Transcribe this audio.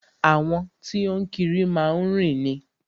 Àwọn tí o ń kiri má ń rìn ni.